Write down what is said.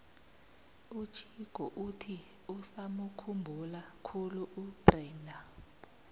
uchicco uthi usamukhumbula khulu ubrenda